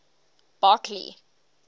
barkley